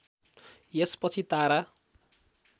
यसपछि तारा